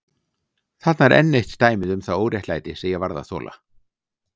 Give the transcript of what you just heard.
Þarna er enn eitt dæmið um það óréttlæti sem ég varð að þola.